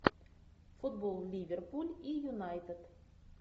футбол ливерпуль и юнайтед